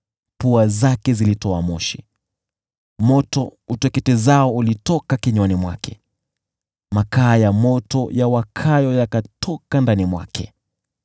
Moshi ukapanda kutoka puani mwake, moto uteketezao ukatoka kinywani mwake, makaa ya moto yawakayo yakatoka ndani mwake.